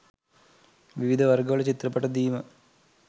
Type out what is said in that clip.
විවිධ වර්ග වල චිත්‍රපට දීම